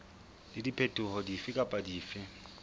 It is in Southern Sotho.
le diphetoho dife kapa dife